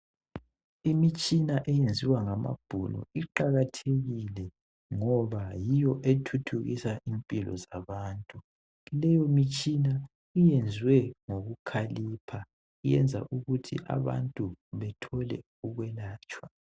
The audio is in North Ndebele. Imitshina eyenziwa ngamabhunu iqakathekile ngoba yiyo ethuthukisa impilo zabantu. Leyo mitshina iyenzwe ngokukhalipha iyenza ukuthi abantu bethole ukwelatshwa.